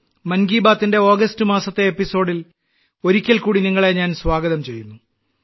മൻ കി ബാത്തിന്റെ ഓഗസ്റ്റ് മാസത്തെ അധ്യായത്തിൽ ഒരിക്കൽകൂടി നിങ്ങളെ ഞാൻ സ്വാഗതം ചെയ്യുന്നു